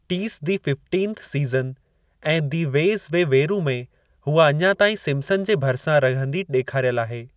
टीस the fifteenth season ऐं the way we were में हूअ अञा ताईं सिम्पसन जे भरिसां रहंदी ॾेखारियल आहे।